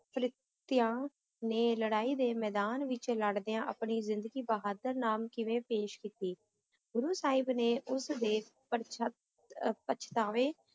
ਫਰਿਸ਼ਤਿਆਂ ਨੇ ਲੜਾਈ ਦੇ ਮੈਦਾਨ ਵਿਚ ਲੜਦਿਆਂ ਆਪਣੀ ਜ਼ਿੰਦਗੀ ਬਹਾਦਰ ਨਾਮ ਕਿਵੇਂ ਪੇਸ਼ ਕੀਤੀ, ਗੁਰੂ ਸਾਹਿਬ ਨੇ ਉਸ ਦੇ ਪਛ~ ਅਹ ਪਛਤਾਵੇ,